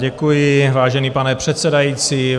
Děkuji, vážený pane předsedající.